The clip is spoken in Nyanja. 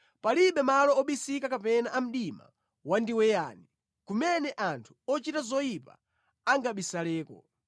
Palibe malo obisika kapena a mdima wandiweyani kumene anthu ochita zoyipa angabisaleko.